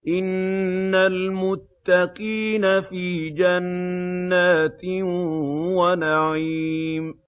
إِنَّ الْمُتَّقِينَ فِي جَنَّاتٍ وَنَعِيمٍ